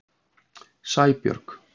Sæbjörg